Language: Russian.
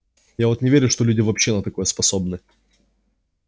я вот не верю что люди вообще на такое способны